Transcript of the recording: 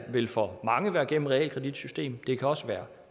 vil for mange være gennem realkreditsystemet det kan også være